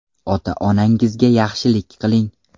Ota-onangizga yaxshilik qiling.